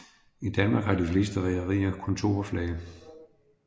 I Danmark har de fleste rederier kontorflag